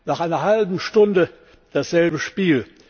Nach einer halben Stunde dasselbe Spiel.